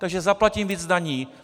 Takže zaplatím víc daní.